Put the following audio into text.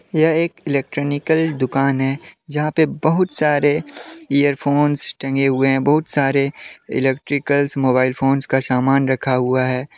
यह एक इलेक्ट्रॉनिकल दुकान है जहा पे बहुत सारे इयरफोंस टंगे हुए है बहुत सारे इलेक्ट्रिकल्स मोबाइल फोंस का सामन रखा हुआ है।